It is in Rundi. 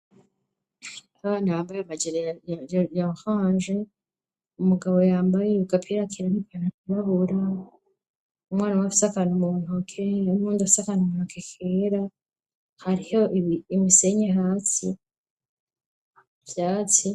Abana bambaye amajere yanhanje umugabo yambaye yukaperakirarikenaibabura umwana wa fsakanaumuntkeumondafsakana umuntu akekera hariho imisenye hatsi vyatsi.